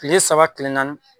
Tile saba tile naani